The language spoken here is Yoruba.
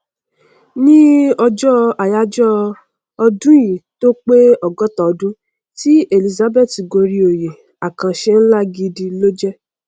ní ọjọ àyájọ ọdúnìí tó pé ọgọta ọdún tí elizabth gorí oyè àkànṣe nlá gidi ló jẹ